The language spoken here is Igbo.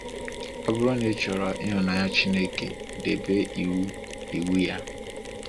Ọ bụrụ na ịchọrọ ịhụnanya Chineke, debe iwu iwu ya.